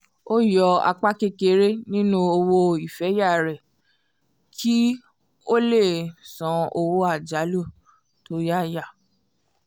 ó yọ apá kéékèèké nínú owó ìfẹ̀yà rẹ̀ kí ó lè san owó àjálù tó yáyà